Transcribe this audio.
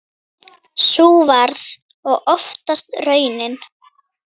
Sú varð og oftast raunin.